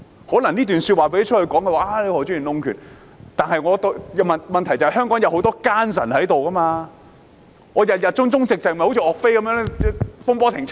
可能這段說話讓外界知道後，有人會說何俊賢議員弄權，但問題是香港有很多奸臣存在，我們如果保持忠直，便會好像岳飛般慘死風波亭。